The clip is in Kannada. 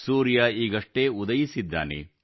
ಸೂರ್ಯ ಈಗಷ್ಟೇ ಉದಯಿಸಿದ್ದಾನೆ